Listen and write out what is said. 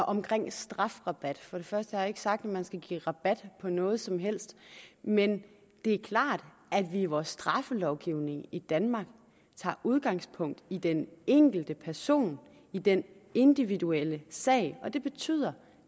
omkring strafrabat først og jeg ikke sagt at man skal give rabat på noget som helst men det er klart at vi i vores straffelovgivning i danmark tager udgangspunkt i den enkelte person i den individuelle sag og det betyder